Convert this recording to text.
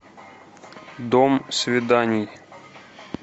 дом свиданий